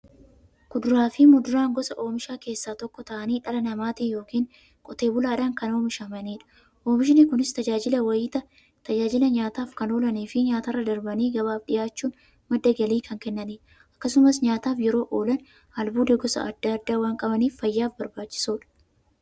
Kuduraafi muduraan gosa oomishaa keessaa tokko ta'anii, dhala namaatin yookiin Qotee bulaadhan kan oomishamaniidha. Oomishni Kunis, tajaajila nyaataf kan oolaniifi nyaatarra darbanii gabaaf dhiyaachuun madda galii kan kennaniidha. Akkasumas nyaataf yeroo oolan, albuuda gosa adda addaa waan qabaniif, fayyaaf barbaachisoodha.